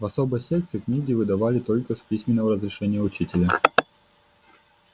в особой секции книги выдавали только с письменного разрешения учителя